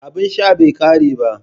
Abin sha bai kare ba